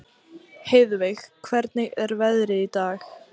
Heiðveig, hvernig er veðrið í dag?